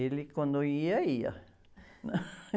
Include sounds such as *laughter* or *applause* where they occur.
Ele quando ia, ia, né? *laughs*